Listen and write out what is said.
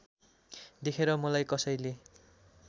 देखेर मलाई कसैले